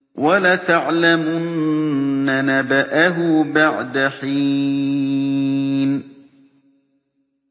وَلَتَعْلَمُنَّ نَبَأَهُ بَعْدَ حِينٍ